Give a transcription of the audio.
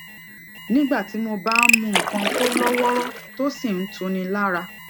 nigba ti mo ba n mu nnkan to loworo tó sì ń tuni lára